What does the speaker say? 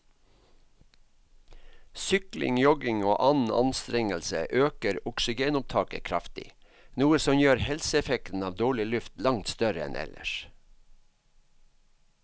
Sykling, jogging og annen anstrengelse øker oksygenopptaket kraftig, noe som gjør helseeffekten av dårlig luft langt større enn ellers.